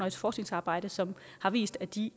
et forskningsarbejde som har vist at de